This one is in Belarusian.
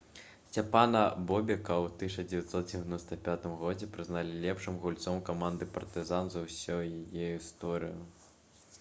сцяпана бобека ў 1995 годзе прызналі лепшым гульцом каманды «партызан» за ўсю яе гісторыю